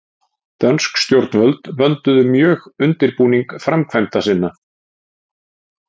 Dönsk stjórnvöld vönduðu mjög undirbúning framkvæmda sinna.